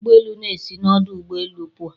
Ụgbọ elu na-esi n'ọdụ ụgbọ elu pụọ